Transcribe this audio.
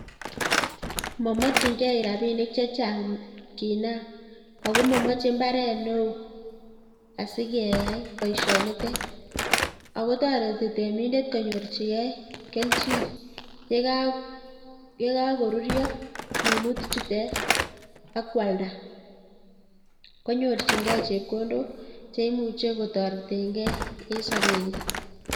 Momokying'e rabinik chechang kinam ak ko momoche imbaret neoo asikeyai boishonitet, ak ko toreti temindet konyorchike kelchin yekokoruryo minuti chutet ak kwalda konyorching'e chepkondok cheimuche kotoreteng'e en sobenyin.